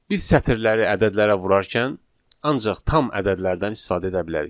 Biz sətirləri ədədlərə vurarkən ancaq tam ədədlərdən istifadə edə bilərik.